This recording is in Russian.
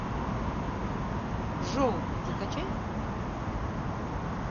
жол закачай